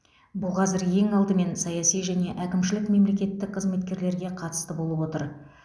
бұл қазір ең алдымен саяси және әкімшілік мемлекеттік қызметкерлерге қатысты болып отыр